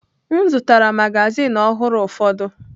M zụtara magazin ọhụrụ ụfọdụ.